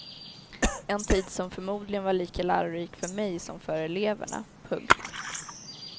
En tid som förmodligen var lika lärorik för mig som för eleverna. punkt